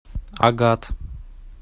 агат